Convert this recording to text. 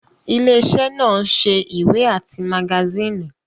Ilé iṣẹ́ náà ń ṣe ìwé àti magasíìnì